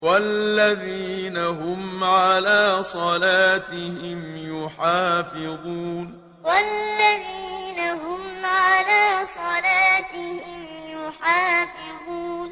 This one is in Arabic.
وَالَّذِينَ هُمْ عَلَىٰ صَلَاتِهِمْ يُحَافِظُونَ وَالَّذِينَ هُمْ عَلَىٰ صَلَاتِهِمْ يُحَافِظُونَ